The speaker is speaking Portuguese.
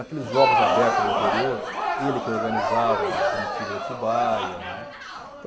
Aqueles jogos abertos do interior, e ele que organizava a comitiva de Atibaia, né.